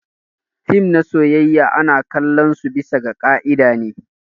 Fim na soyayya ana kalon su bisa ga kaida ne.